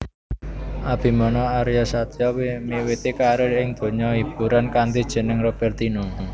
Abimana Aryasatya miwiti karier ing donya hiburan kanthi jeneng Roberthino